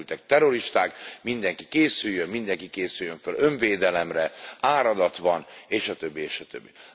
A menekültek terroristák, mindenki készüljön, mindenki készüljön fel önvédelemre, áradat van és a többi és a többi.